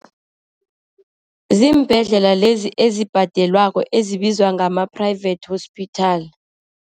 Ziimbhedlela lezi ezibhadelwako, ezibizwa ngama-private hospital.